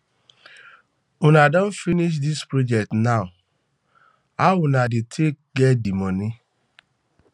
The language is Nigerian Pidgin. una don finish this project now now now how una dey take get di money